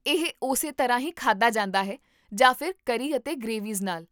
ਇਹ ਓਸੇ ਤਰ੍ਹਾਂ ਹੀ ਖਾਧਾ ਜਾਂਦਾ ਹੈ ਜਾਂ ਫਿਰ ਕਰੀ ਅਤੇ ਗ੍ਰੇਵੀਜ਼ ਨਾਲ